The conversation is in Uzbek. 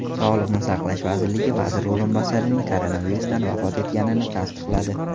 Sog‘liqni saqlash vazirligi vazir o‘rinbosarining koronavirusdan vafot etganini tasdiqladi .